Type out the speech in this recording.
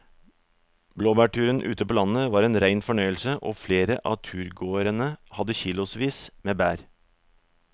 Blåbærturen ute på landet var en rein fornøyelse og flere av turgåerene hadde kilosvis med bær.